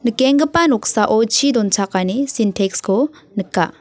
nikenggipa noksao chi donchakani sintex-ko nika.